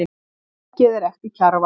Verkið er eftir Kjarval.